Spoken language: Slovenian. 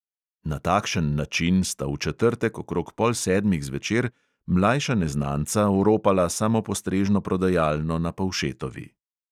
Na takšen način sta v četrtek okrog pol sedmih zvečer mlajša neznanca oropala samopostrežno prodajalno na povšetovi.